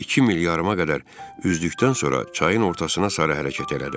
İki mil yarıma qədər üzdükdən sonra çayın ortasına sarı hərəkət elədim.